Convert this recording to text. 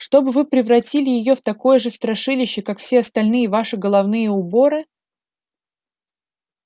чтобы вы превратили её в такое же страшилище как все остальные ваши головные уборы